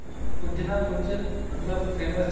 ਕੁੱਝ ਨਾ ਕੁੱਝ ਮਤਲਬ famous